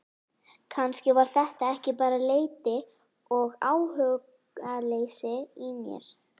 Kannski var þetta ekki bara leti og áhugaleysi í mér.